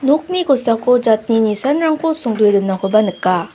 nokni kosako jatni nisanrangko songdoe donakoba nika.